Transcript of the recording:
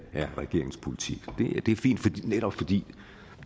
er regeringens politik det er fint netop fordi